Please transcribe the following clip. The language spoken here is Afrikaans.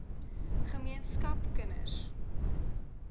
ge meenskap kinders